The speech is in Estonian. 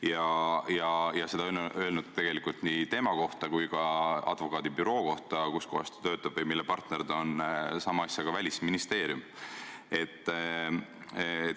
Kusjuures seda on öelnud nii tema enda kui ka advokaadibüroo kohta, kus ta töötab või mille partner ta on, ka Välisministeerium.